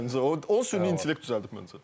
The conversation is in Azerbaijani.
Məncə o süni intellekt düzəldib məncə.